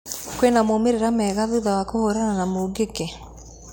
Kwĩna maumĩrĩra mega thutha wa kũhũrana na mũngĩkĩ?